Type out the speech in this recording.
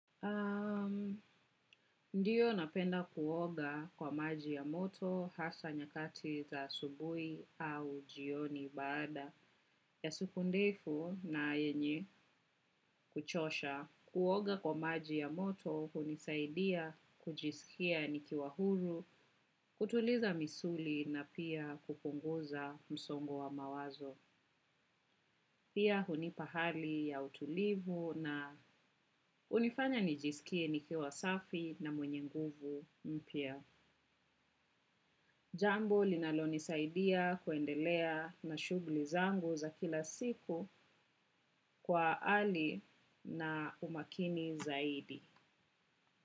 Ndiyo napenda kuoga kwa maji ya moto hasa nyakati za asubuhi au jioni baada ya siku ndefu na yenye kuchosha. Kuoga kwa maji ya moto hunisaidia kujisikia nikiwa huru, kutuliza misuli na pia kupunguza msongo wa mawazo. Pia hunipa hali ya utulivu na hunifanya nijisikie nikiwa safi na mwenye nguvu mpya. Jambo linalonisaidia kuendelea na shughuli zangu za kila siku kwa hali na umakini zaidi.